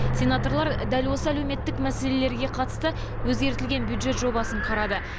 сенаторлар дәл осы әлеуметтік мәселелерге қатысты өзгертілген бюджет жобасын қарады